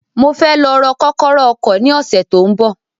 Mo fẹ́ lọ rọ kọ́kọ́rọ́ ọkọ̀ ni ọsẹ tó ń bọ